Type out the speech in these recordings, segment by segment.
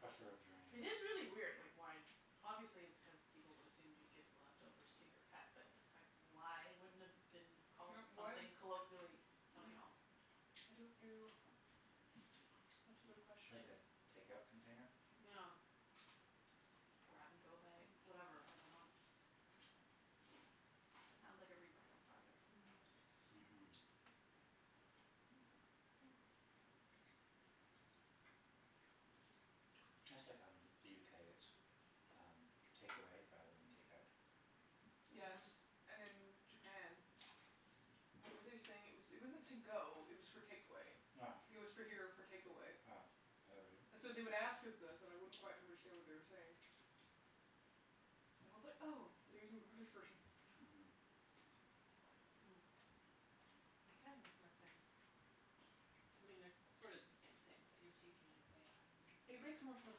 Crusher of dreams. It is really weird, like why Obviously it's cuz people would assumed you'd give the leftovers to your pet, but it's like, why wouldn't it have been called Yeah, why something Mm. colloquially, I something else? don't know. That's a good question. Like a takeout container? Yeah. grab-and-go bag, whatever. I dunno. That sounds like a rebranding project. Mhm, that's Mhm. That's like how in the UK, it's um takeaway rather than takeout. Yes. Mhm. And in Japan, what were they saying? It was, it wasn't to-go, it was for takeaway. Yeah. It was for here or for takeaway. Yeah, I heard it. So they would ask us this and I wouldn't quite understand what they were saying. And I was like, "Oh, they're using the British version." Hmm. It kinda makes more sense. I mean, they're sort of the same Mhm. thing, but you're taking it away rather than just It like makes more sense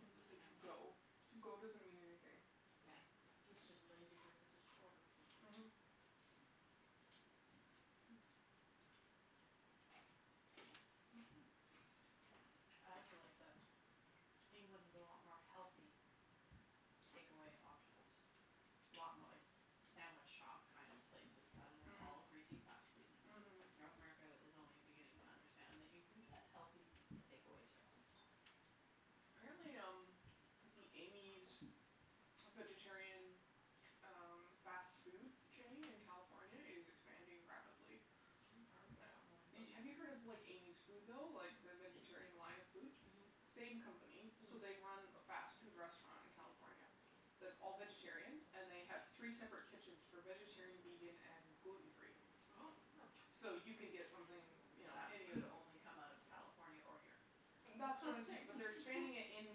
than to say it "to-go". out. "to-go" doesn't mean anything. Yeah. It's just a lazy word cuz it's shorter. Mhm. I also like that England has a lot more healthy takeaway options. A lot mo- like sandwich shop kind of places rather than all Mm. greasy fast Mm. food. Mhm. North Mhm. America Mhm. is only beginning to understand that you can get healthy takeaway stuff. Apparently, um, the Amy's vegetarian ch- um fast food chain in California is expanding rapidly. I haven't heard of that one, but Have you heard of like Amy's Food, though, like the vegetarian line of food? Mhm. Mm. Same company. So, they run a fast food restaurant in California that's all vegetarian. And they have three separate kitchens for vegetarian, vegan and gluten free. Oh. So you can get something, you know That any of could only come out of California or here. That's what I'm saying, but they're expanding it in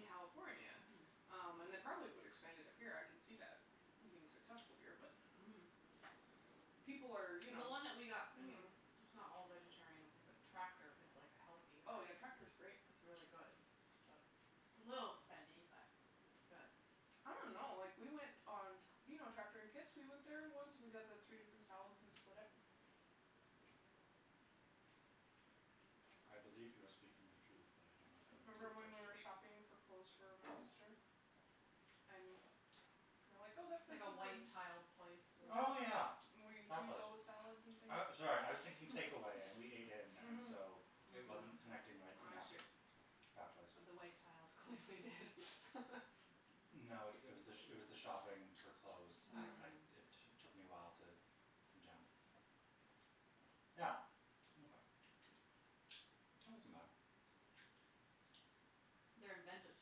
California. Um, and they probably would expand it up here. I can see that being successful here, but Mhm. people are, you know. The one that we got, I mean it's not all vegetarian, I don't think, but Tractor is like a healthier Oh, yeah, Tractor's great. It's really good, but It's a little spendy, but it's good. I don't know. Like, we went on t- You know Tractor in Kits? We went there once and we got the three different salads and split it. I believe you are speaking the truth, but I do not have a Remember when we memory were attached to it. shopping for clothes for my sister? And we were like, "Oh, that It's place like a looks like" white-tiled place We with Oh went yeah, Where you that choose place. all the salads and things. I, sorry, I was thinking takeaway and we ate in and Mhm. so it wasn't connecting the right I see. synaptic pathways. But the white tiles clearly did. No, it was the, it was the shopping for clothes. I, I, it t- took me a while to jump. Yeah, okay. That wasn't bad. They're inventive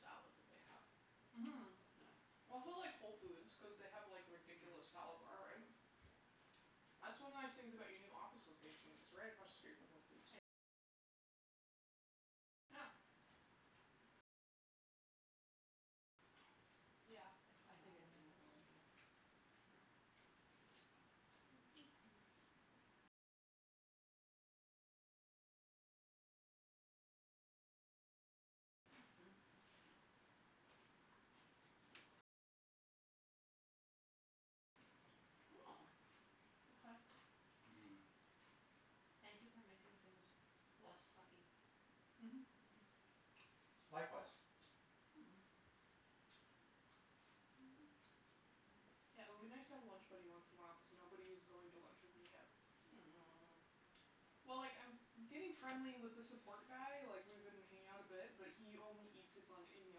salads that they have. Mhm. Yeah. That's why I like Whole Foods cuz they have like a ridiculous salad bar, right? That's one of the nice things about your new office location, it's right across the street from Whole Foods. Yeah. Yeah, I think it's in the building, yeah. Mhm. Oh, okay. Mhm. Thank you for making things less sucky. Mhm, Mhm. Likewise. Yeah, it would be nice to have a lunch buddy once in a while cuz nobody is going to lunch with me yet. Oh. Well, like, I'm getting friendly with the support guy, like, we've been hanging out a bit, but he only eats his lunch in the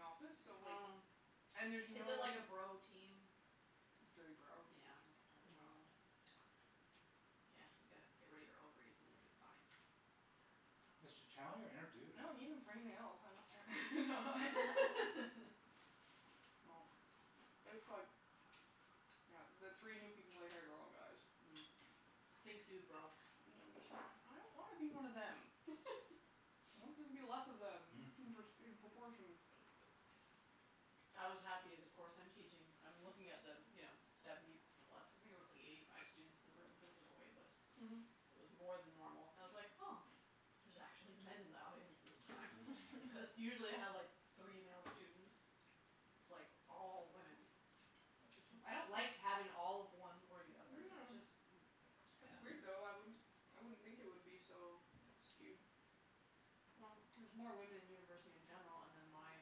office so, like. Oh. And there's no. Is it like a bro team? It's very bro. That's part Yeah. of the problem. Yeah, you gotta get rid of your ovaries and then you'll be fine. Just tell them you're a dude. I don't need them for anything else. No, it's like. Yeah. the three new people they hired are all guys. Mm. Think dudebro. And I'm just, like, I don't wanna be one of them. I want there to be less of them in in proportion. I was happy. The course I'm teaching, I'm looking at the, you know, seventy plus. I think there was like eighty five students in the room cuz there's a wait list, so Mhm. it was more than normal. I was like oh, there's actually men in the audience this time. Because usually I have like three male students, it's like all women. I don't like having all of one or the other. It's just. No. It's It's weird, weird, though. though. I wouldn't I wouldn't think it would be so skewed. Well, there's more women in university in general, and then my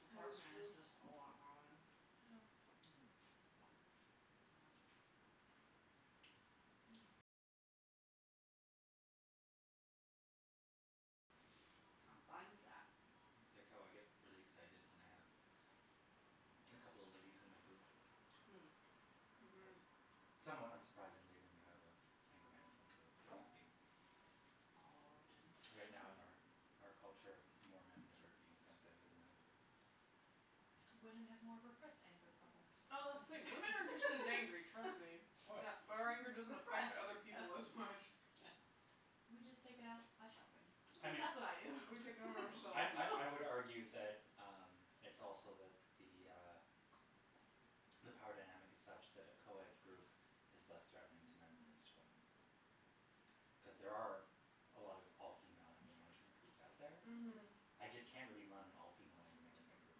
department is just a lot more women. Yeah. I'm fine with that. It's like how I get really excited when I have a couple of ladies in my group. Cuz Mhm. somewhat unsurprisingly when you have an anger management group, there would be. All men. Right now in our out culture, more men that are being sent there than women. Women have more repressed anger problems. Oh, wait, women are just as angry, trust me. Yeah, but our anger doesn't affect Repressed, other people as much. yes. We just take it out by shopping, at least that's what I do. We take it out on I I I would ourselves. argue that um it's also that the uh the power dynamic is such that a co-ed group is less threatening to men than it is to women. Cuz there are a lot of all female anger management groups out there. Mhm. I just can't really run an all female anger management group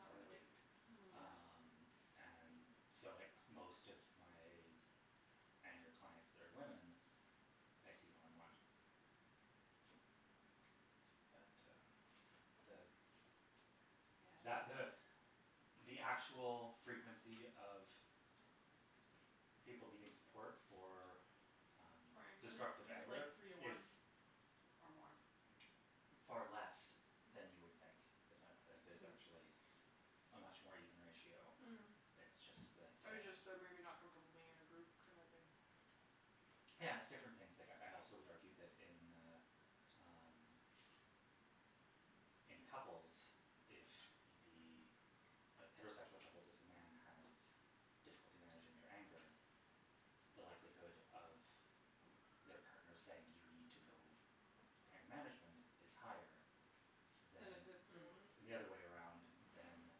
cuz I'm a dude. Oh. Um, and so, like, most of my anger clients that are women, I see one on one. But uh the. That Yeah. the the actual frequency of people needing support for um For anger? Is destructive it anger like three to is. one or more? Far less than you would think. Is my point, like there's actually a much more even ratio. Mm. It's just that Or uh. just they're maybe not comfortable being in a group kind of thing. Yeah, it's different things. Like, I also would argue that in uh um in couples, if the heterosexual couples, if the man has difficulty managing their anger, the likelihood of their partner saying, "You need to go to anger management," is higher Than if than. it's the woman? The other way around than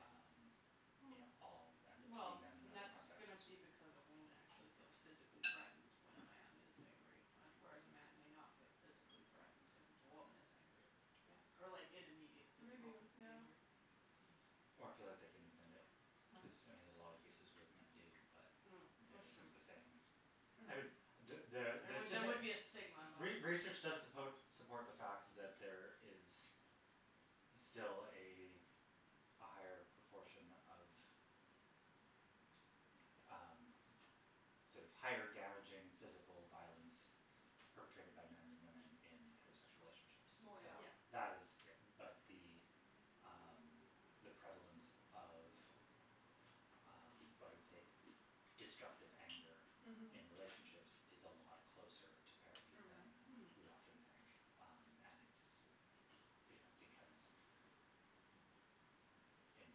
um, you know, I'll end up Well, seeing them in and that that's context. going to be because a woman actually feels physically threatened when a man is angry, whereas a man may not feel physically threatened if a woman is angry. Yeah. Or like in immediate Maybe, physical yeah. danger. Or feel like they can admit it cuz, I mean, there's a lot of cases where men do, but that isn't the same. No. I mean. There there would be a stigma involved. Re research does suppo support the fact that there is still a a higher proportion of um sort of higher damaging physical violence perpetrated my men than women in heterosexual relationships. So Well, yeah. that is but the um the prevalence of um what I would say destructive anger in relationships is a lot closer to parity than Mhm. we often think. Mm. And it's, you know, because in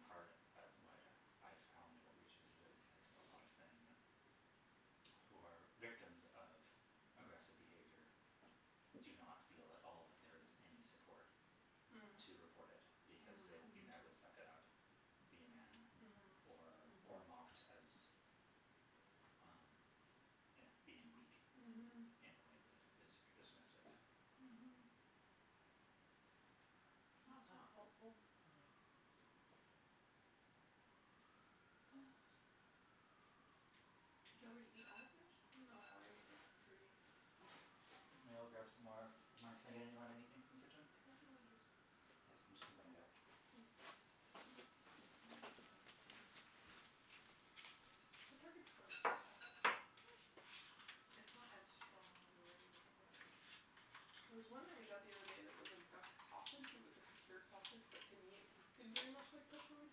part, what I found in research is that a lot of men who are victims of aggressive behavior do not feel at all like there is any support to report it because they will be met with "suck it up", "be a man" or or mocked as um you know being weak in a way that is very dismissive. Mhm. But uh. That's not helpful. Oh, I'm so full. Did you already eat all of yours? No, I ate like three. Okay. I'm going to go grab some more of mine. Can I get anybody anything from the Can kitchen? I have more juice, please? Yes, I'm just going to bring it out. Thank you. The turkey pepperoni's not bad. Mm. It's not as strong as a regular pepperoni. There was one that we got the other day that was a duck sausage, it was like a cured sausage, but to me it tasted very much like pepperoni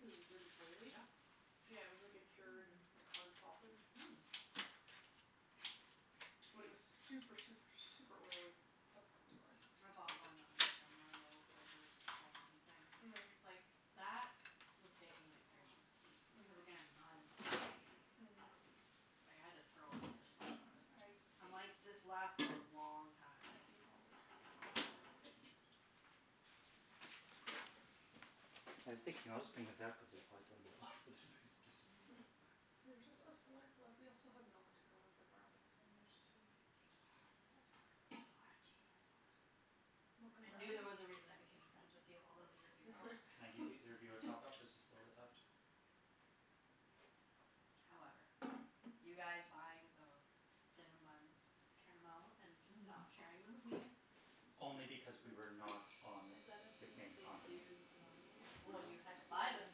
cuz it was really oily. Duck Yeah, it was sausage? like a cured Mm. like hard sausage. Mm. But it was super, super, super oily. That's probably why. I bought one that was like a merlot flavored salami thing. Mm. It's like that would take me like three months to eat cuz again, not into salty things. Mm. Like, I had to throw out this much of it. I'm I like ate. this lasted a long time. I ate all the turkey, all the duck sausage. I never had duck sausage. I was thinking I'll just bring this out cuz there's probably tons of it left, but there's basically There's just a just a glass left. slurp left. We also have milk to go with the brownies, and there's tea. That's Yes. fine. You are a genius, woman. Mocha and I knew there brownies. was a reason I became friends with you all those years ago. Can I give either of you a top up? There's just a bit left. However, you guys buying those cinnamon buns with caramel and not sharing them with me. Only because we were not on Is that a the thing that main they do continent. normally? Well, you had to Like, buy them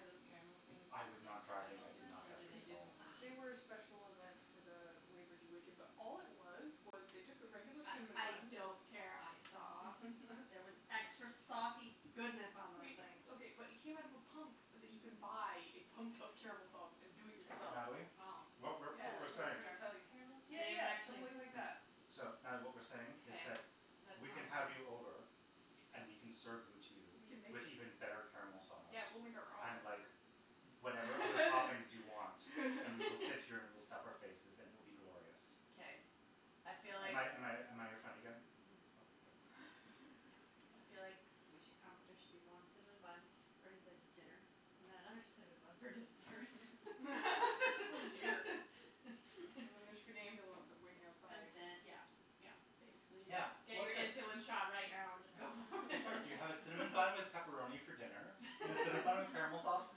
are those caramel things I like a was not driving. special I did event not or have do they do them control. all the They were a time? special event for the Labour Day weekend, but all it was was they took the regular cinnamon I buns. don't care, I saw. There was extra saucy goodness on those Wait, things. okay, but it came out of a pump that you can buy, a pump of caramel sauce, and do it yourself. Natalie, Oh, what we're Oh, what we're like saying. really? Starbucks caramel Yeah, style? They didn't yeah, just actually. like that. So, Natalie, what we're saying is Okay, that that sounds we can have you right. over. And we can serve them to you. We can make With them. even better caramel sauce. Yeah, we'll make our And own. like whatever other toppings you want and we will sit here and we'll stuff our faces and it will be glorious. Okay, I feel Am like. I am I am I your friend again? Mhm. Okay, good. I feel like we should come, there should be one cinnamon bun for the dinner and then another cinnamon bun for dessert. Oh dear. There should be an ambulance waiting outside. And then, yeah, yeah, basically Yeah, just. Get well, your it's good. insulin shot right now and just go for it. You have a cinnamon bun with pepperoni for dinner and a cinnamon bun with caramel sauce for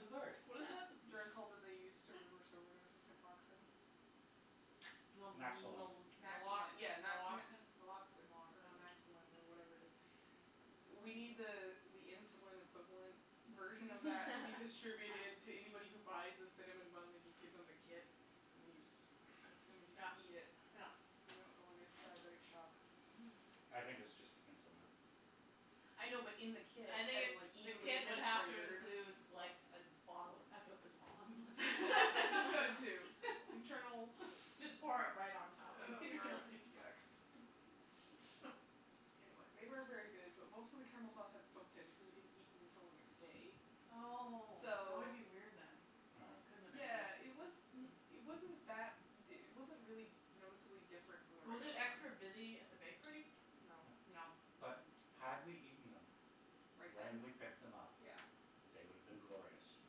dessert. What is the drug called that they use to reverse overdoses? Naproxen? Naxolone. Naxalone, yeah. yeah, Naloxin, Naloxin. Naloxin or Naxolin or whatever it is. We need the uh the insulin equivalent version of that to be distributed to anybody who buys the cinnamon bun. They just give them the kit and you just assume you Yeah, eat it. yeah. So you don't go into diabetic shock. Mhm. I think it's just insulin. I know, but in the kit I think and, like, the easily kit would have to administered. include like a bottle of Pepto Bismol. Too. Internal. Just pour it right on top. Oh, gross, yuck. Anyway, they were very good, but most of the caramel sauce had soaked in cuz we didn't eat them until the next day. Oh, that would So.Yeah, be it was. weird then. It wasn't that, it wasn't really noticeably different from the Was regular it one. extra busy at the bakery? No. No, but had we eaten them. Right When then? we picked them up. Yeah. They would have been glorious.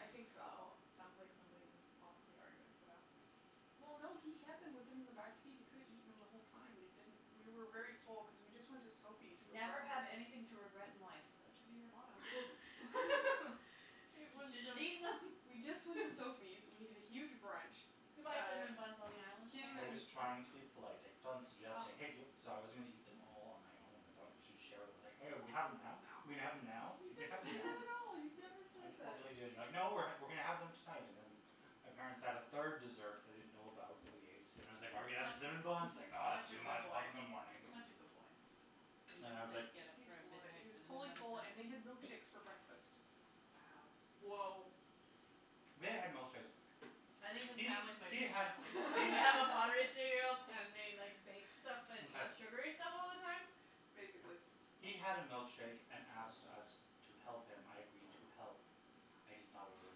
I think so. Oh, sounds like somebody was possibly arguing for that. Well, no, he had them with him in the back seat. He could've eaten them the whole time, but he didn't. We were very full because we just went to Sophie's for Never have breakfast. anything to regret in life, that should be your motto. You should have just eaten them. We just went to Sophie's. We had a huge brunch. You can buy cinnamon buns on the island, can't I you? was trying to be polite. I kept on suggesting hey do- So I was going to eat them all on my own. I thought we should share them. I was like, hey, are we going to have them now? Are we going to have them now? You didn't say that at all. You never I said that. totally did you were like, no, we're going to have them tonight. And then my parents had a third dessert that I didn't know about that we ate, so then I was like, are we going to have the cinnamon buns? It's Such a like, no, it's too good much, we'll have them in the boy, morning. such a good boy. You didn't get up He's for a full of it. He midnight was totally cinnamon full, bun and we had snack? milkshakes for breakfast. Wow. Woah. We had milkshakes. I think his family's my new family. They have a pottery studio and they like bake stuff and eat sugary stuff all the time? Basically. He had a milkshake and asked us to help him, I agreed to help. I did not order a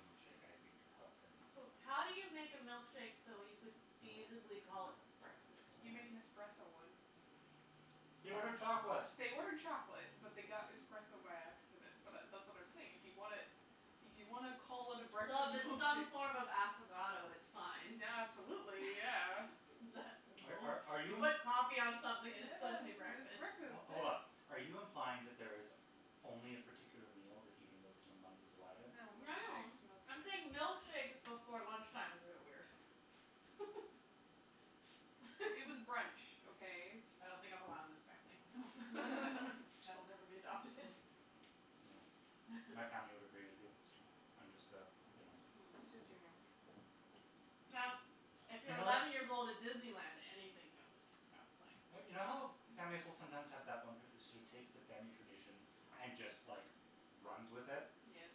milkshake, I agreed to help him. So, how do you make a milkshake so you could feasibly call it breakfast? You make an espresso one. He ordered chocolate. They ordered chocolate, but they got espresso by accident. But that's what I'm saying. If you want to, if you want to call it a So breakfast if it's some milkshake. form of affogato, it's fine. Yeah, absolutely, yeah. Are are You you? put coffee on something and it's suddenly Yeah, it's breakfast. breakfast, Hold on, yeah. are you implying that there is only a particular meal that eating those cinnamon buns is allowed in? No, No, no, milkshakes, I'm saying milkshakes. milkshakes before lunch time is a bit weird. It was brunch, okay? I don't think I'm allowed in this family. So I'll never be adopted. No. My family would agree with you. I'm just the, you know. I'm just giving you a hard time. Now, if you're eleven years old at Disneyland, anything goes. Yeah. Like. But you know how families will sometimes have that one person who sort of takes the family tradition and just, like, runs with it. Yes.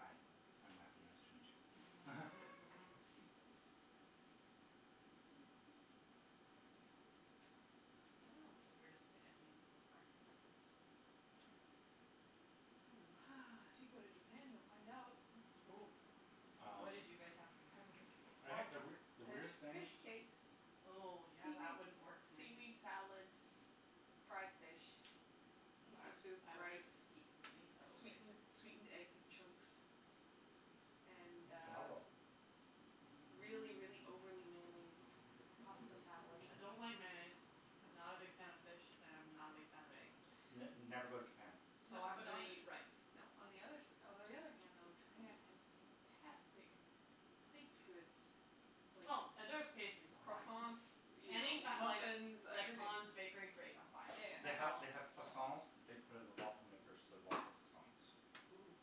Hi, I'm Matthew. Nice to meet you. Mhm, Mhm, Mhm. I don't know what the weirdest thing I've eaten for breakfast is. If you go to Japan, you'll find out. Oh, what did you guys have for breakfast? I think the weird the There's weirdest thing. fish cakes. Oh, yeah, that wouldn't Seaweed work for seaweed me. salad, fried fish, I miso soup, I would rice. have eaten miso, Sweetened sweetened egg basically. chunks and uh. Tomago. Really, really overly mayonnaised pasta salad. I don't like mayonnaise, I'm not a big fan of fish and I'm not a big fan of eggs. N never go to Japan. So I'm going to eat rice. No, on the other s- Although, on the other hand though, Japan has fantastic baked goods. Oh, if there's pastries, I'm fine. Croissants, you know, Any muffins, like everything. Hans bakery, great, I'm fine. They have, they have croissants that they put in the waffle makers so they're waffle croissants. Ooh.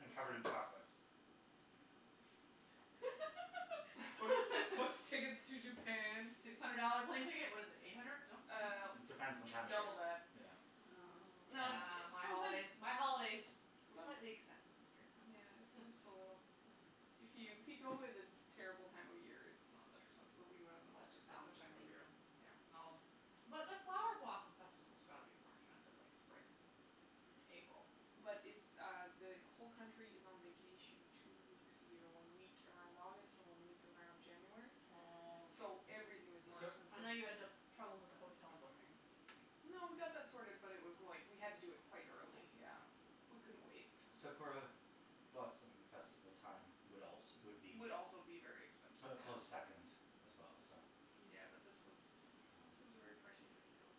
And covered in chocolate. What's what's tickets to Japan? Six hundred dollar plane ticket. What is it, eight hundred? No? Uh, It depends on the time double of that. year. Yeah. Oh, yeah, my holidays, my holidays were slightly expensive this year. Yeah, just a little. If you if you go at a terrible time of year, it's not that expensive, but we went on the most That expensive sounds time of the year. amazing. Well. But the flower blossom festival's got to be more expensive, like, spring, April. But it's uh the whole country is on vacation two weeks a year, one week around August, one week around January. Oh. So everything is more I know you had expensive. trouble with the hotel booking. No, we got that sorted, but it was like we had to do it quite early, yeah, we couldn't wait. Sakura blossom festival time would also would be. Would also be very expensive. A close second as well, so. Yeah, but this was this was a very pricey time to go.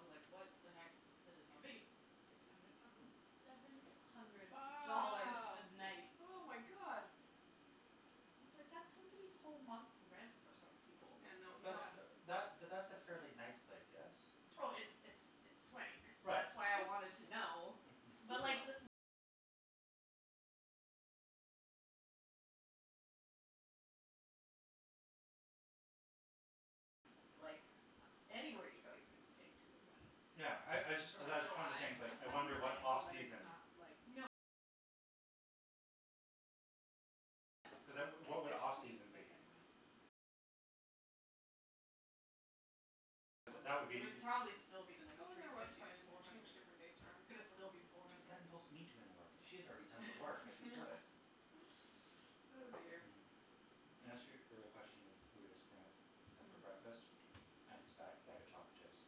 I was like, what the heck is this going to be? Six hundred something? Seven hundred Wow, dollars a night. oh, my God. I was like, that's somebody's whole month rent for some people. Yeah, no. But that but that's a fairly nice place, yes? Oh, it's it's it's swank. Right, That's why I wanted to know. Mhm. Like, anywhere you go, you're going to be paying too much money. Yeah, I I just cuz I was trying to think, like, It sounds I fancy wonder what off but it's season. not, like. Like, there's suites, but they're not. Cuz that would be. It would probably still be Just like go on three their fifty, website and four change hundred. different dates around. But that involves me doing work. If she had already done the work, I'd be good. Oh, dear. Mm. In answer your question of weirdest thing I've had for breakfast, I think it's a bag bag of chocolate chips.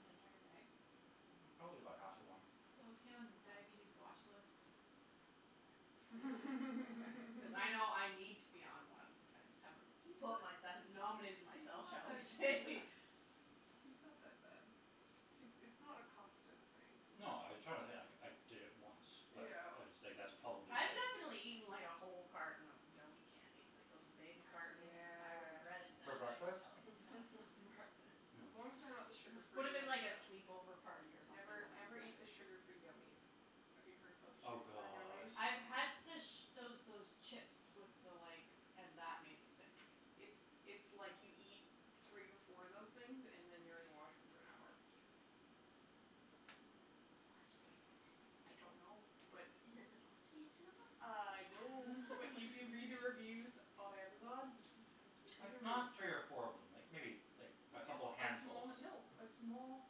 An entire bag? Probably about half of one. So is he on diabetes watch lists? Okay. Cuz I know I need to be on one. I just haven't put myself, He's not nominated that- He's myself, not shall we that say. he's not that bad. It's it's not a constant thing. No, I was trying to think. Like, I did it once, but it Ew. was like that's probably I've it. definitely eaten, like, a whole carton of gummie candies, like those big cartons. I Yeah. regretted For that, I can breakfast? tell you. No, not for breakfast. As long as they're not the It sugar free would have ones, been like a though. sleepover party or something Never, when I was never eat the younger. sugar free gummies. Have you heard about the Oh, sugar free god. gummies? I've had the those those chips with the like and that made me sick. It's it's like you eat three or four of those things and then you're in the washroom for an hour. Why do I they exist? don't know, but. Is it supposed to be an enema? I know, but if you read the reviews on Amazon. Like, I'm not curious. three or four of them, like like maybe a Like a couple of small. handfuls. No, a small,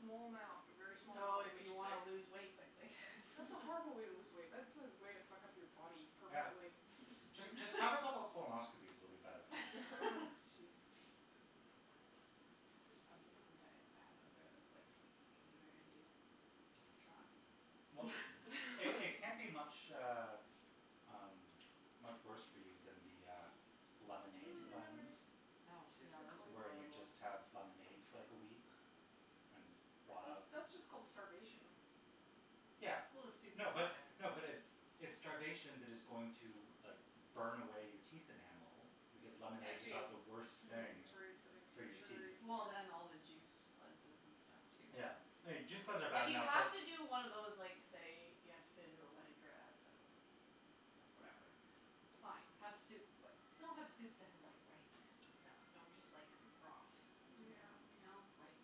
small amount, a very small amount So will if make you you want sick. to lose weight quickly. That's a horrible way to lose weight. That's a way to fuck up your body Yeah. permanently. Just have a couple of colonoscopies, it'll be better for you. Jeez. There's probably some diet fad out there that's like gummie bear induced trots. Well, they can't be much uh um much worse for you than the uh lemonade cleanse. Oh, Where yeah, you those just have are horrible. lemonade for like a week and rot out. That's just called starvation. Yeah. Well, a soup No but, diet. no, but it's it's starvation that is going to like burn away your teeth enamel because lemonade's about the worst thing It's very acidic for and your teeth. sugary. Well, and all the juice cleanses and stuff too. Yeah, juice cleanses are bad If you enough have but. to do one of those like say you have to fit into a wedding dress that was like whatever, fine, have soup, but still have soup that has rice in it and stuff. Don't just like have a broth. Yeah. You know, like.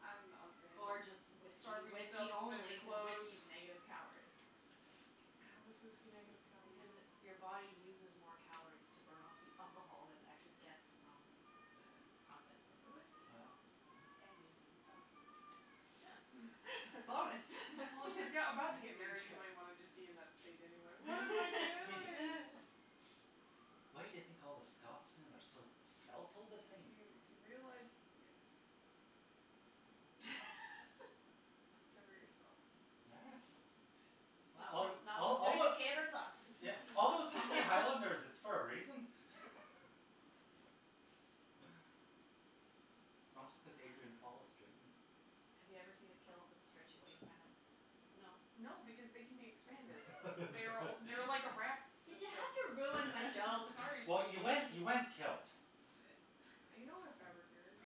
I'm not a fan Or of just whiskey, starving myself whiskey to fit only into because clothes. whiskey is negative calories. How is whiskey negative calories? Because it your body uses more calories to burn off the alcohol than it actually gets from the the content of the Really? whiskey. Yeah. And you get to be sauced all the time. Yeah. Bonus. Well, if you're about to get married, you might want to just be in that state anyway. Sweetie. Why do you think all the Scotsmen are so svelt all the Do time? you realize, yeah, just They're very svelt. It's not it's not like a caber toss. Yeah, all those hunky highlanders, it's for a reason. It's not just cuz Adrian Paul is dreamy. Have you ever seen a kilt with a stretchy waistband? No. No, because they can be expanded. They're they're like a wrap Did you system. have to ruin my joke? Sorry, Well, sweetie. you went you went kilt. I know, fabric nerd.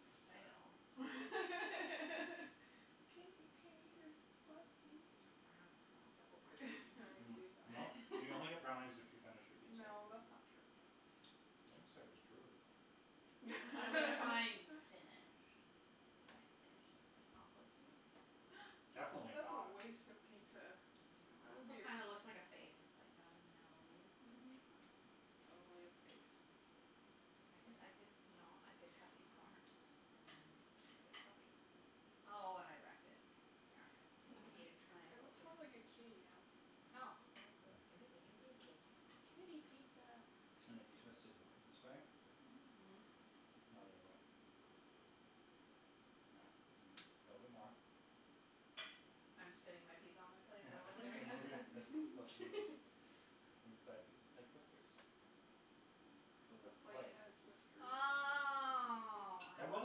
It's a fail. You can't you can't eat your last No. piece? Brownies, I want double brownies. Well, you only get brownies if you finish your pizza. No, that's not true. I didn't say it was true. Well, define finish. Can I finish it by composting it? That's a Definitely that's a not. waste of pizza. It That would be also a. kind of looks like a face. It's like got a nose. Mhm. Totally a face. I could I could, you know, I could cut these corners and then it could be a puppy. See? Oh, and I wrecked it. Darn. I need a It triangle. looks more like a kitty now. Oh, well, good. It can it can be a kitty. Kitty pizza. And if you twist it this way. Mhm. Mhm. No, the other way. Yeah. A little bit more. I'm spinning my pizza on my plate, is that what we're You're doing? moving this closer to me. And you've got a big, like, whiskers on The the plate plate. has whiskers. Oh, I There was